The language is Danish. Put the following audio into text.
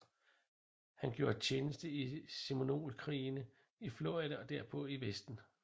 Han gjorde tjenste i Seminolekrigene i Florida og derpå i Vesten